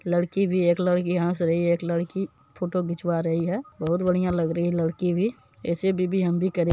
लड़की भी है एक लड़की हंस रही है एक लड़की फोटो खिंचवा रही है बहुत बढ़िया लग रही है लड़की भी ऐसी भी भी हम भी करें --